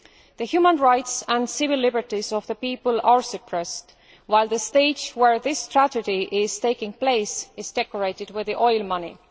The human rights and civil liberties of the people are suppressed, while the stage where this tragedy is taking place is decorated with oil money.